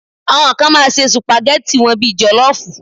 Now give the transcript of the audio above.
Àwọn kan máa se sùpàgẹ́tì wọn bíi jọ̀lọ́ọ́fù